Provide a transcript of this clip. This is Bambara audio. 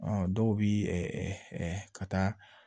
dɔw bɛ ɛ ɛ ka taa